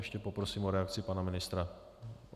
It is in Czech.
Ještě prosím o reakci pana ministra.